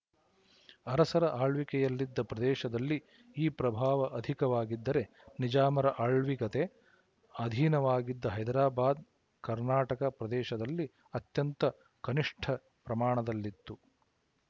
ಅರಸರ ಆಳ್ವಿಕೆಯಲ್ಲಿದ್ದ ಪ್ರದೇಶದಲ್ಲಿ ಈ ಪ್ರಭಾವ ಅಧಿಕವಾಗಿದ್ದರೆ ನಿಜಾಮರ ಆಳ್ವಿಕತೆ ಅಧೀನವಾಗಿದ್ದ ಹೈದರಾಬಾದ್ ಕರ್ನಾಟಕ ಪ್ರದೇಶದಲ್ಲಿ ಅತ್ಯಂತ ಕನಿಶ್ಠ ಪ್ರಮಾಣದಲ್ಲಿತ್ತು